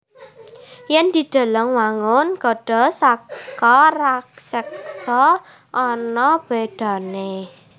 Yèn dideleng wangun gada saka raseksa ana bédané